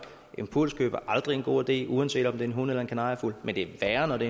impulskøb er aldrig en god idé uanset om det er en hund eller en kanariefugl men det er værre når det